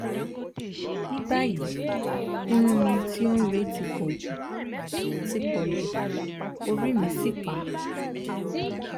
ní báyìí irun mi tó ń re ti pọ̀jù ti pọ̀jù orí mì sì pá